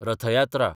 Rath Yatra